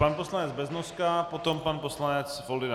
Pan poslanec Beznoska, potom pan poslanec Foldyna.